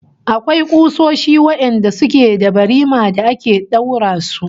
Akwai kusoshi wadanda suke da barima da ake daura su